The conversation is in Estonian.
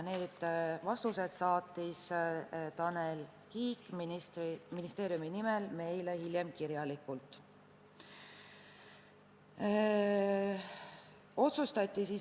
Need vastused saatis Tanel Kiik ministeeriumi nimel meile hiljem kirjalikult.